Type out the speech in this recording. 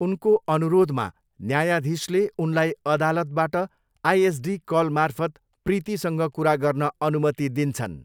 उनको अनुरोधमा, न्यायाधीशले उनलाई अदालतबाट आइएसडी कलमार्फत प्रीतिसँग कुरा गर्न अनुमति दिन्छन्।